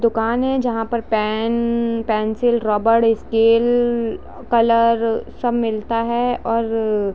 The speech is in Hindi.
दुकान है जहाँ पर पेंन्न-पेंसिल रबर स्केल कलर सब मिलता है और--